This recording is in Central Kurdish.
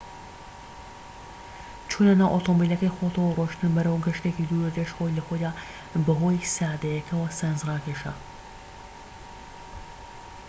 چونە ناو ئۆتۆمبیلەکەی خۆتەوە و ڕۆشتن بەرەو گەشتێکی دوورودرێژ خۆی لەخۆیدا بەهۆی سادەییەکەوە سەرنجڕاکێشە